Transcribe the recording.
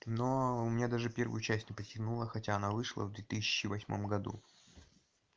но у меня даже первую часть не потянуло хотя она вышла в две тысячи восьмом году